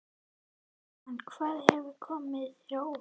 Jóhann: Hvað hefur komið þér á óvart?